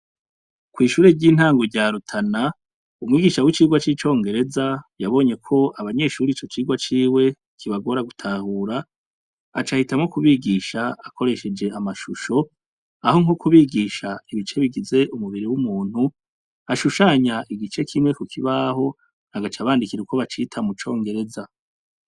Kw'ishuri ry'intango rya Rutana , umwigisha w'icigwa c'icongereza yabonyeko abanyeshure ico cigwa ciwe kibagora gutahura , aca ahitamwo kubigisha akoresheje amashusho, aho nko kubigisha ibice bigize umubiri w'umuntu, ashushanya igice kimwe kukibaho agaca abandikira uko bacita mucongereza.